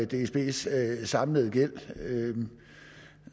dsbs samlede gæld